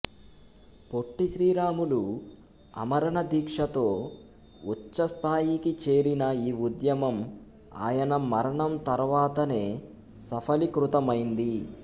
పొట్టి శ్రీరాములు ఆమరణ దీక్షతో ఉచ్ఛస్థాయికి చేరిన ఈ ఉద్యమం ఆయన మరణం తర్వాతనే సఫలీకృతమైంది